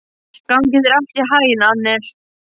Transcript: Gangi þér allt í haginn, Annel.